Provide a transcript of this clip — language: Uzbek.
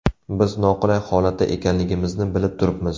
Biz noqulay holatda ekanligimizni bilib turibmiz.